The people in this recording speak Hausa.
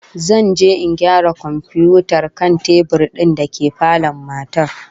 Zan je in gyara komfiyutar kan tebur din dake falon matar